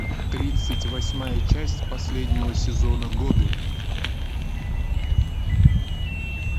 тридцать восьмая часть последнего сезона годы